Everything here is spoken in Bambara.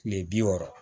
Kile bi wɔɔrɔ